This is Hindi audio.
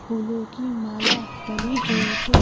फूलों की माला डली हुई है।